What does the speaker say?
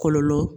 Kɔlɔlɔ